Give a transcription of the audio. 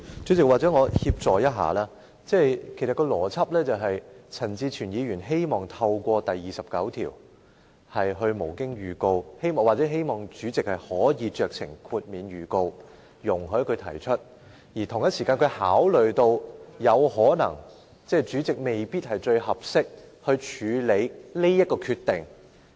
主席，或許讓我協助一下，其實有關邏輯是，陳志全議員希望透過《議事規則》第29條無經預告提出修正案，或希望主席可酌情免卻預告容許他提出修正案，而他同時考慮到主席未必是最合適處理這個決定的人。